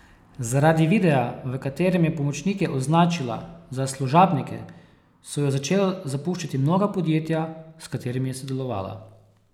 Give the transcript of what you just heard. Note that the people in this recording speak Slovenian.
Zaradi videa, v katerem je pomočnike označila za služabnike, so jo začela zapuščati mnoga podjetja, s katerimi je sodelovala.